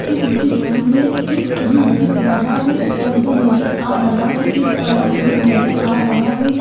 इस चित्र में एक फ्रिज दिख रहा है पर्दा नजर आ रहा है एक बड़ा बेड नजर आ रहा है।